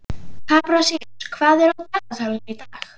Kaprasíus, hvað er á dagatalinu í dag?